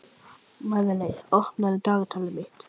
Nýja gatnakerfið hafði gert miðborgina að einum umferðarhnút.